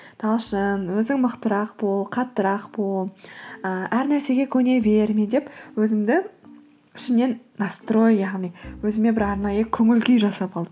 талшын өзің мықтырақ бол қаттырақ бол і әр нәрсеге көне берме деп өзімді шынымен настрой яғни өзіме бір арнайы көңіл күй жасап алдым